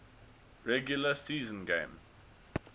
regular season game